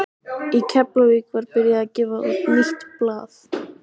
Í Keflavík var byrjað að gefa út nýtt blað.